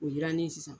O jirannen ye sisan